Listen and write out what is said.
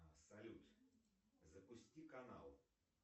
салют запусти канал